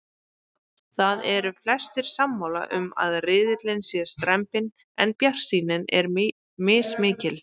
Það eru flestir sammála um að riðillinn sé strembinn en bjartsýnin er mismikil.